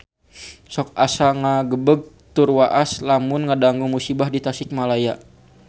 Sok asa ngagebeg tur waas lamun ngadangu musibah di Tasikmalaya